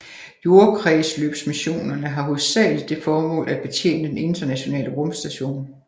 Jordkredsløbsmissionerne har hovedsageligt det formål at betjene Den Internationale Rumstation